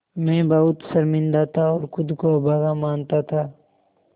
मैं बहुत शर्मिंदा था और ख़ुद को अभागा मानता था